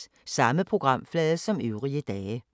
Samme programflade som øvrige dage